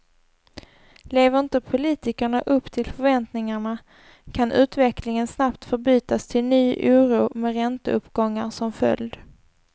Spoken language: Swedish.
Lever inte politikerna upp till förväntningarna kan utvecklingen snabbt förbytas till ny oro med ränteuppgångar som följd.